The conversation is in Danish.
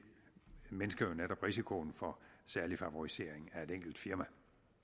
mindsker jo netop risikoen for særlig favorisering af et enkelt firma